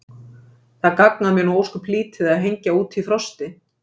Það gagnar mér nú ósköp lítið að hengja út í frosti.